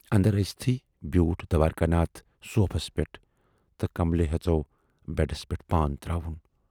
اَندر ٲژۍتھٕے بیوٗٹھ دوارِکا ناتھ صوفس پٮ۪ٹھ تہٕ کملہِ ہٮ۪ژٮ۪و بٮ۪ڈس پٮ۪ٹھ پان تراوُن۔